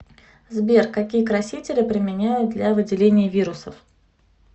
сбер какие красители применяют для выделения вирусов